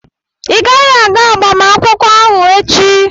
ị gaghị aga agbamakwụkwọ ahụ echi!